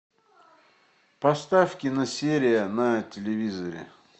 поставь киносерия на телевизоре